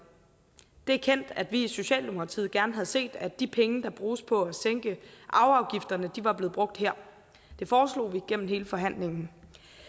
det er kendt at vi i socialdemokratiet gerne havde set at de penge der bruges på at sænke arveafgifterne var blevet brugt her det foreslog vi gennem hele forhandlingen